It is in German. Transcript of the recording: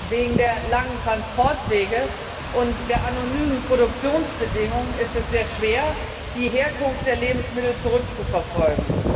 Wegen der langen Transportwege und der anonymen Produktionsbedingungen ist es sehr schwer, die Herkunft der Lebensmittel zurückzuverfolgen.